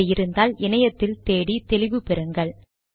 அப்படி இருந்தால் இணையத்தில் தேடி தெளிவு பெறுங்கள்